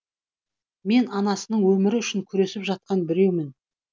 мен анасының өмірі үшін күресіп жатқан біреумін